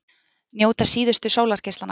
Njóta síðustu sólargeislanna